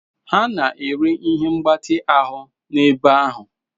Ha na-ere ihe mgbatị ahụ n'ebe ahụ.